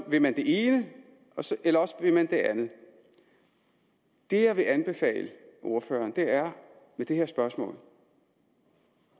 vil man det ene eller også vil man det andet det jeg vil anbefale ordføreren er i det her spørgsmål